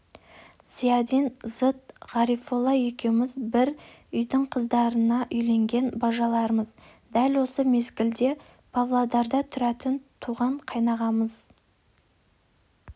зиядин зыт ғарифолла екеуміз бір үйдің қыздарына үйленген бажалармыз дәл осы мезгілде павлодарда тұратын туған қайнағамыз